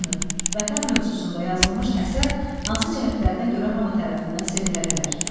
Düşünün, Vətən mövzusunda yazılmış əsər hansı cəhətlərinə görə hamı tərəfindən sevilə bilər?